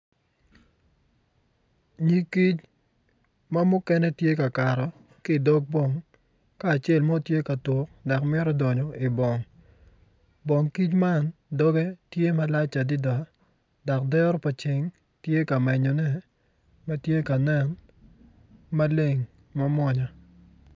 Nyig kic ma mukene tye ka kato ki dog bong ka acel mo tye ka tuk dok mito donyo ibong bongkic man dogge tye malac adida dok dero pa ceng tye ka menyone ma tye ka nen maleng mamwonya